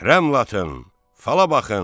Rəmlatın, fala baxın.